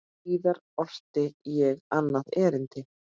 Síðar orti ég annað erindi.